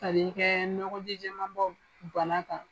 Tali kɛ nɔgɔ ji jɛma bɔ bana kan.